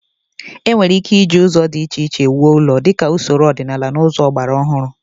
E nwere ike iji ụzọ dị iche iche wuo ụlọ, dịka usoro ọdịnaala na ụzọ agbara ọhụrụ.